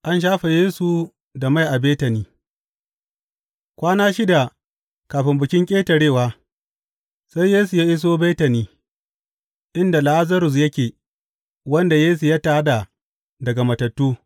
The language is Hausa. An shafe Yesu da mai a Betani Kwana shida kafin Bikin Ƙetarewa, sai Yesu ya iso Betani, inda Lazarus yake, wanda Yesu ya tā da daga matattu.